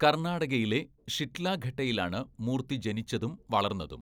കർണാടകയിലെ ഷിഡ്ലഘട്ടയിലാണ് മൂർത്തി ജനിച്ചതും വളർന്നതും.